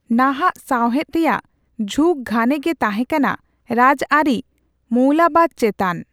ᱱᱟᱦᱟᱜ ᱥᱟᱣᱦᱮᱫ ᱨᱮᱭᱟᱜ ᱡᱷᱩᱸᱠ ᱜᱷᱟᱱᱮ ᱜᱮ ᱛᱟᱦᱮᱸ ᱠᱟᱱᱟ ᱨᱟᱡᱽᱟᱹᱨᱤ ᱢᱚᱭᱞᱳᱵᱟᱫ ᱪᱮᱛᱟᱱ ᱾